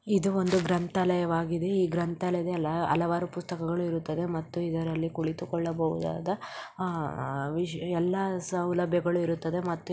ಇದು ಒಂದು ಗ್ರಂಥಾಲಯವಾಗಿದೆ. ಈ ಗ್ರಂಥಾಲಯದಲ್ಲಿ ಹಲವಾರು ಪುಸ್ತಕಗಳು ಇರುತ್ತವೆ ಮತ್ತು ಇದರಲ್ಲಿ ಕುಳಿತುಕೊಳ್ಳಬಹುದಾದ ಆಹ್ ವಿಷ- ಎಲ್ಲಾ ಸೌಲಭ್ಯಗಳು ಇರುತ್ತವೆ ಮತ್ತು --